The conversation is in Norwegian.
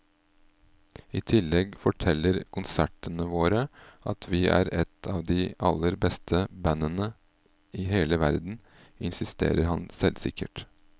I tillegg forteller konsertene våre at vi er et av de aller beste bandene i hele verden, insisterer han selvsikkert.